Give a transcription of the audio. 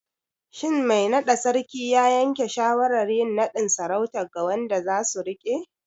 Shin mai naɗa Sarkin ya yanke shawarar yin naɗin sarautar ga wanda zasu riƙe?